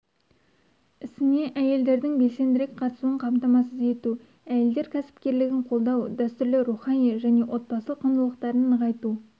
ісіне әйелдердің белсендірек қатысуын қамтамасыз ету әйелдер кәсіпкерлігін қолдау дәстүрлі рухани және отбасы құндылықтарын нығайту